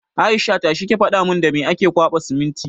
Aisha! tashi ki faɗa mun da me ake kwaɓa siminti!